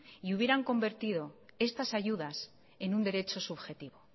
y hubieran convertido estas ayudas en un derecho subjetivo